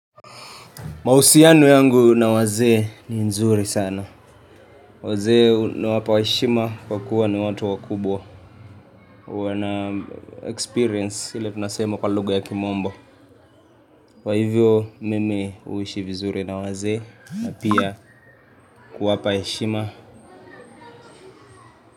Mahusiano yangu na wazee ni nzuri sana. Wazee nawapa heshima kwa kuwa ni watu wakubwa. Huwa na experience ile tunasema kwa lugha ya kimombo. Kwa hivyo mimi huishi vizuri na wazee na pia kuwapa heshima.